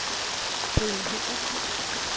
Brian Hendriksen